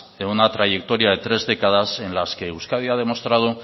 en una trayectoria de tres décadas en las que euskadi ha demostrado